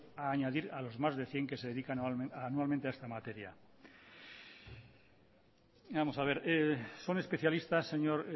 a añadir a los más de cien que se dedican anualmente a esta materia vamos a ver son especialistas señor